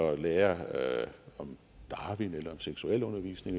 at lære om darwin eller seksualundervisning